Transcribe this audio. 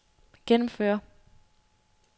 gennemføre